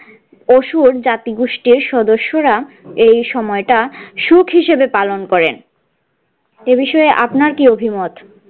অসুর জাতি গোষ্ঠীর সদস্যরা এই সময়টা সুখ হিসাবে পালন করেন এ বিষয়ে আপনার কি অভিমত।